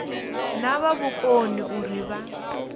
vha na vhukoni uri vha